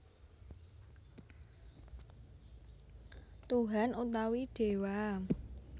Tuhan utawi Déwa